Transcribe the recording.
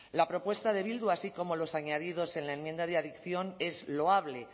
la propuesta de bildu así como los añadidos en la enmienda de adicción es loable